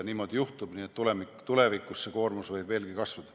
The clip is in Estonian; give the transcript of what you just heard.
Nii et tulevikus võib see koormus veelgi kasvada.